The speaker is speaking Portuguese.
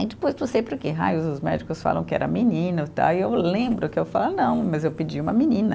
Aí depois, não sei por que raios, os médicos falam que era menino tá, aí eu lembro que eu falo, ah não, mas eu pedi uma menina.